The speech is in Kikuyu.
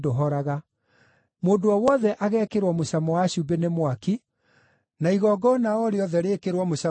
Mũndũ o wothe agekĩrwo mũcamo wa cumbĩ nĩ mwaki, (na igongona o rĩothe rĩĩkĩrwo mũcamo na cumbĩ).